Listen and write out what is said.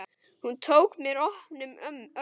Hún tók mér opnum örmum.